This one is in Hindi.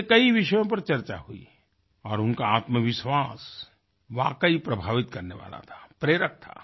उनसे कई विषयों पर चर्चा हुई और उनका आत्मविश्वास वाकई प्रभावित करने वाला था प्रेरक था